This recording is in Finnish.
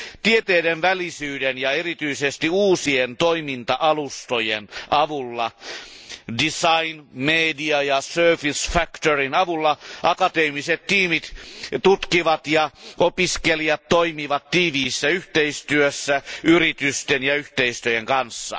Tieteiden välisyyden ja erityisesti uusien toiminta alustojen design, media ja surface factor avulla akateemiset tiimit tutkivat ja opiskelijat toimivat tiiviissä yhteistyössä yritysten ja yhteisöjen kanssa.